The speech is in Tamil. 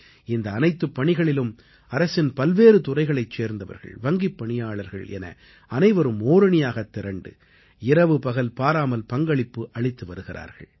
இந்த அனைத்துப் பணிகளிலும் அரசின் பல்வேறு துறைகளைச் சேர்ந்தவர்கள் வங்கிப் பணியாளர்கள் என அனைவரும் ஓரணியாகத் திரண்டு இரவு பகல் பாராமல் பங்களித்து வருகிறார்கள்